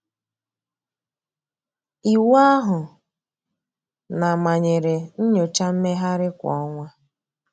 Iwu ahụ na-manyere nnyocha mmegharị kwa ọnwa.